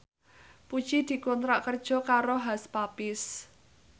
Puji dikontrak kerja karo Hush Puppies